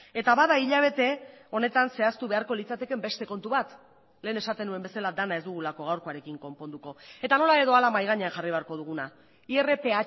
eta bada hilabete honetan zehaztu beharko litzatekeen beste kontu bat lehen esaten nuen bezala dena ez dugulako gaurkoarekin konponduko eta nola edo hala mahai gainean jarri beharko duguna irph